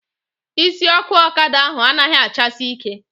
Isi ọkụ ọkada ahụ anaghị achasi ike